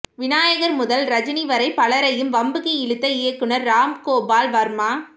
விநாயகர் முதல் ரஜினி வரை பலரையும் வம்புக்கு இழுத்த இயக்குனர் ராம்கோபால் வர்மா